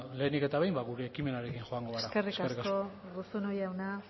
lehenik eta behin ba gure ekimenarekin joango gara eskerrik asko eskerrik asko urruzuno jauna